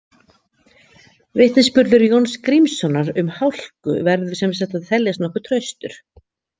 Vitnisburður Jóns Grímssonar um hálku verður sem sagt að teljast nokkuð traustur.